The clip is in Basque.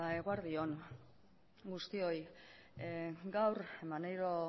eguerdi on guztioi gaur maneiro